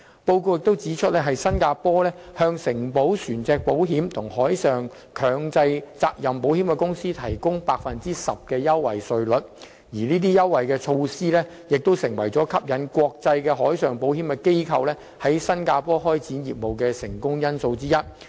報告也指出，新加坡向承保船隻保險和海上強制責任保險公司提供 10% 的優惠稅率，這些優惠措施是吸引國際海上保險機構在新加坡開展業務的成功因素之一。